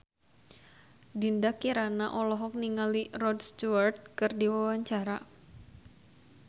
Dinda Kirana olohok ningali Rod Stewart keur diwawancara